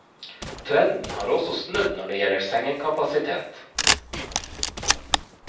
Trenden har også snudd når det gjelder sengekapasitet.